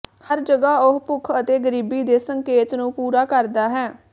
ਹਰ ਜਗ੍ਹਾ ਉਹ ਭੁੱਖ ਅਤੇ ਗਰੀਬੀ ਦੇ ਸੰਕੇਤ ਨੂੰ ਪੂਰਾ ਕਰਦਾ ਹੈ